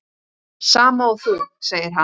Sama og þú, segir hann.